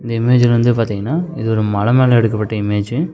இந்த இமேஜ்ல வந்து பாத்தீங்கன்னா இது ஒரு மல மேல எடுக்கப்பட்ட இமேஜ் .